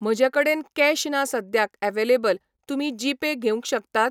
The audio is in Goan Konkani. म्हजे कडेन कॅश ना सद्द्याक अवेलॅबल तुमी जी पे घेवंक शकतात